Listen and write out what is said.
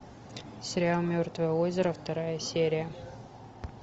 сериал мертвое озеро вторая серия